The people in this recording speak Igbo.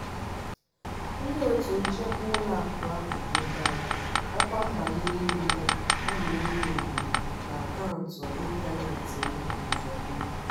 ndị otu nchekwa ụlọakụ ahụ nyochara ọkwa nbanye niile a na-enyo enyo na akaụntụ ịntanetị m ozugbo.